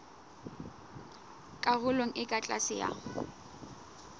karolong e ka tlase ya